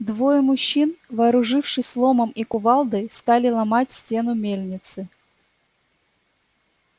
двое мужчин вооружившись ломом и кувалдой стали ломать стену мельницы